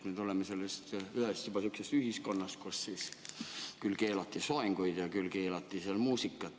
Me tuleme ühest sellisest ühiskonnast, kus keelati küll soenguid, küll muusikat.